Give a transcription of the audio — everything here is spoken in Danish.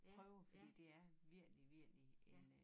Prøve fordi det er virkelig virkelig en øh